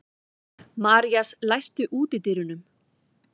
Marías, læstu útidyrunum.